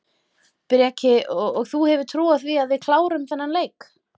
Breki: Og þú hefur trú á því að við klárum þennan leik?